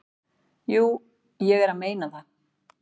"""Jú, ég er að meina það."""